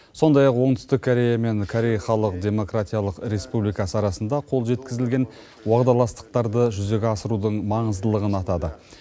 сондай ақ оңтүстік корея мен корей халық демократиялық республикасы арасында қол жеткізілген уағдаластықтарды жүзеге асырудың маңыздылығын атады